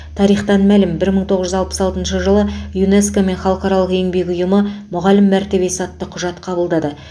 тарихтан мәлім бір мың тоғыз жүз алпыс алтыншы жылы юнеско мен халықаралық еңбек ұйымы мұғалім мәртебесі атты құжат қабылдады